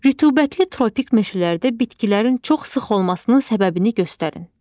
Rütubətli tropik meşələrdə bitkilərin çox sıx olmasının səbəbini göstərin.